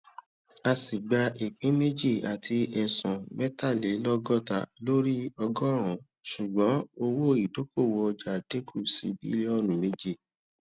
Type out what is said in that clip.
asi gba ìpín méjì àti esun metalelogota lórí ọgọrun ṣùgbọn owó idokowo ọjà dínkù sí bilionu méje